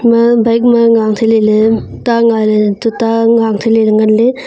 ima bike ma nga ang theiley ley ta nga ley le tuita nga ley ngan ley.